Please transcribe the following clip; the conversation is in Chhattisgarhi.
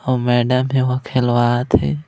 अऊ मैडम हे ओहा खेलवात हे।